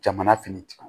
Jamana fɛnɛ tigi